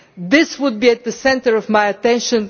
This would be at the centre of my attention